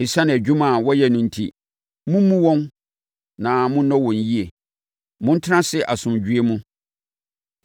Esiane adwuma a wɔyɛ no enti, mommu wɔn na monnɔ wɔn yie. Montena ase asomdwoeɛ mu.